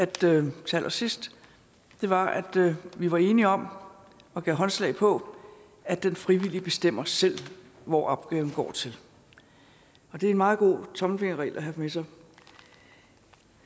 til allersidst var at vi var enige om og gav håndslag på at den frivillige bestemmer selv hvor opgaven går til det er en meget god tommelfingerregel at have med sig